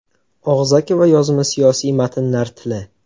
Og‘zaki va yozma siyosiy matnlar tili.